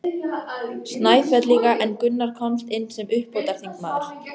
Snæfellinga en Gunnar komst inn sem uppbótarþingmaður.